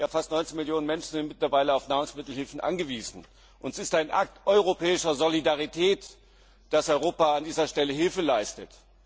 Fast 19 Millionen Menschen sind mittlerweile auf Nahrungsmittelhilfe angewiesen. Es ist ein Akt europäischer Solidarität, dass Europa an dieser Stelle Hilfe leistet.